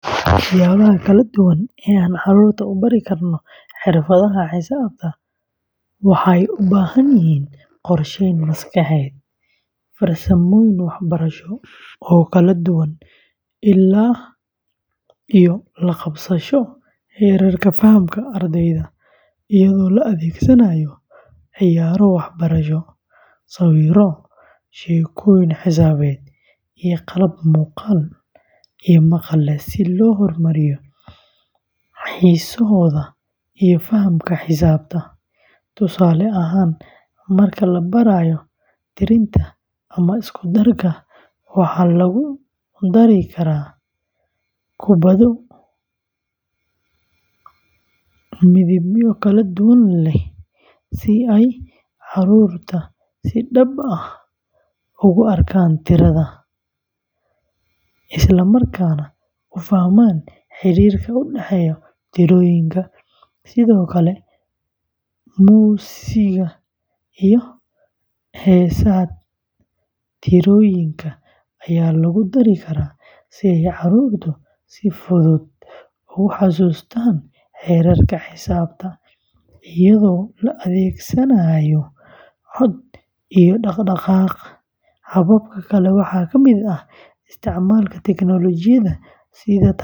Siyaabaha kala duwan ee aan carruurta ugu bari karno fikradaha xisaabta waxay u baahan yihiin qorsheyn maskaxeed, farsamooyin waxbarasho oo kala duwan, iyo la qabsasho heerka fahamka ardayda, iyadoo la adeegsanayo ciyaaro waxbarasho, sawirro, sheekooyin xisaabeed, iyo qalab muuqaal iyo maqal leh si loo hormariyo xiisahooda iyo fahamka xisaabta; tusaale ahaan, marka la barayo tirinta ama isku darka, waxaa lagu dari karaa kubbado midabyo kala duwan leh si ay carruurtu si dhab ah ugu arkaan tirada, isla markaana u fahmaan xiriirka u dhexeeya tirooyinka; sidoo kale, muusigga iyo heesaha tirooyinka ayaa lagu dari karaa si ay carruurtu si fudud ugu xasuustaan xeerarka xisaabta, iyadoo la adeegsanayo cod iyo dhaqdhaqaaq; hababka kale waxaa kamid ah isticmaalka teknoolojiyadda sida.